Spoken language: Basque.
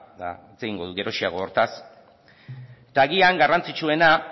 eta hitz egingo dut geroxeago hortaz eta agian garrantzitsuena